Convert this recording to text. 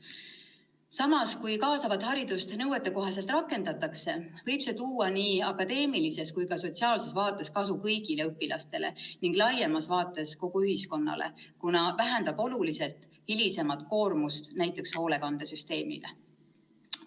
Samas, kui kaasavat haridust nõuetekohaselt rakendatakse, võib see tuua nii akadeemilises kui ka sotsiaalses vaates kasu kõigile õpilastele ning laiemas mõttes kogu ühiskonnale, sest see vähendab oluliselt hilisemat koormust näiteks hoolekandesüsteemile.